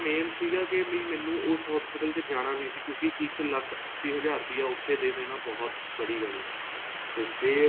main ਸੀਗਾ ਕੇ ਵੀ ਮੈਨੂੰ ਉਸ hospital ਦੇ ਵਿੱਚ ਜਾਣਾ ਨਹੀਂ ਸੀ ਕਿਉਂਕਿ ਇੱਕ ਲੱਖ ਅੱਸੀ ਹਜ਼ਾਰ ਰੁਪਇਆ ਉਥੇ ਦੇ ਦੇਣਾ ਬਹੁਤ ਬੜੀ ਗੱਲ ਹੈ ਤੇ ਫ਼ੇਰ